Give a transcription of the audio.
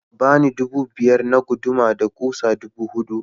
Ka bani dubu biyar na guduma da kusan dubu hudu.